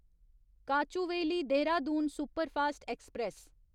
Kochuveli Dehradun superfast express